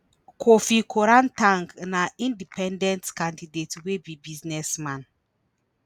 kofi koran ten g na independent candidate wey be businessman.